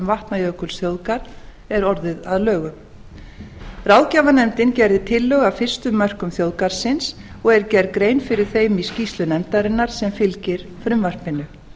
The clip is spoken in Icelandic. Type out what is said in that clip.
vatnajökulsþjóðgarð er orðið að lögum ráðgjafarnefndin gerði tillögur að fyrstu mörkum þjóðgarðsins og er gerð grein fyrir þeim í skýrslu nefndarinnar sem fylgir frumvarpinu